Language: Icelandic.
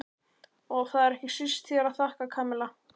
Og það er ekki síst þér að þakka, Kamilla.